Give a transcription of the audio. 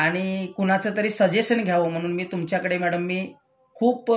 आणि कुणाचं तरी सजेशन घ्यावं म्हणून मी तुमच्याकडे मॅडम मी खुप